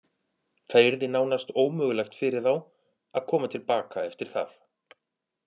Það yrði nánast ómögulegt fyrir þá að koma til baka eftir það.